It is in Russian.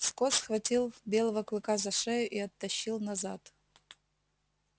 скотт схватил белого клыка за шею и оттащил назад